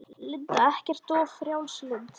Linda: Ekkert of frjálslynd?